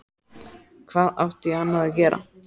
Hvað átti ég annað að gera?